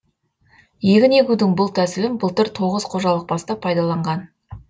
егін егудің бұл тәсілін былтыр тоғыз қожалық бастап пайдаланған